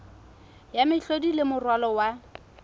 ya mehlodi le moralo wa